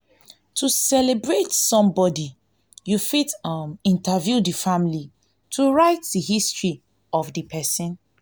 to celebrate some body you fit um interview the family to write di history of di person